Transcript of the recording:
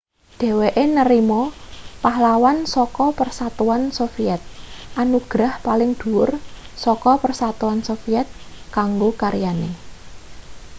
dheweke narima pahlawan saka persatuan soviet anugerah paling dhuwur saka persatuan soviet kanggo karyane